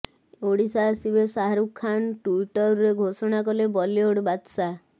ଓଡ଼ିଶା ଆସିବେ ଶାହାରୁଖ ଖାନ୍ ଟ୍ୱିଟରରେ ଘୋଷଣା କଲେ ବଲିଉଡ ବାଦଶାହା